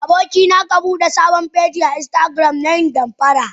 Abokina kan Bude sabon feji a instagram nayin damfara.